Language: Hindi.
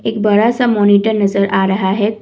एक बड़ा सा मॉनिटर नजर आ रहा है।